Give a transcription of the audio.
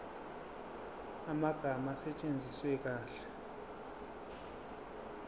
amagama asetshenziswe kahle